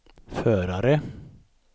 förare